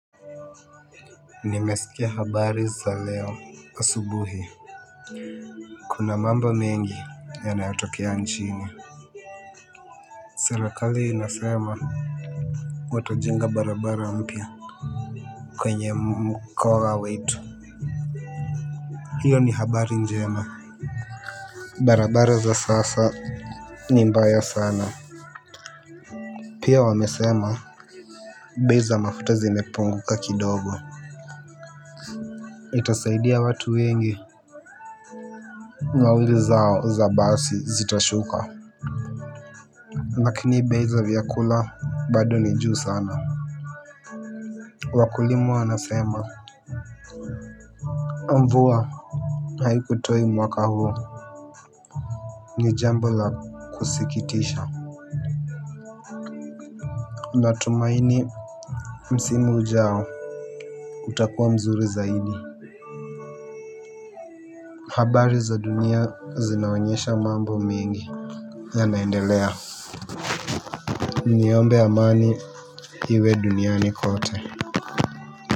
Nimesikia habari za leo asubuhi. Kuna mambo mengi yanayatokea nchini. Serekali inasema watajenga barabara mpya. Kwenye mkoa wetu hiyo ni habari njema barabara za sasa ni mbaya sana pia wamesema bei za mafuta zimepunguka kidogo. Itasaidia watu wengi. Nauli zao za basi zitashuka. Nakini bei za vyakula bado ni juu sana. Wakulima wanasema mvua haiku toi mwaka huu. Ni jambo la kusikitisha. Natumaini msimu ujao utakuwa mzuri zaidi. Habari za dunia zinaonyesha mambo mengi Yanaendelea. Niombe amani hiwe duniani kote.